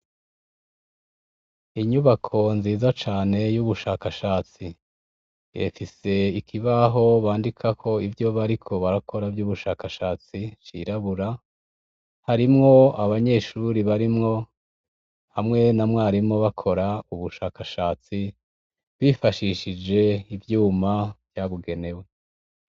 Inyubako nziza cane y'ubushakashatsi efise ikibaho bandika ko ivyo bariko barakora vy'ubushakashatsi cirabura harimwo abanyeshuri barimwo hamwe na mwarimo bakora ubushakashatsi bifashishije ivyuma vyabugenewe.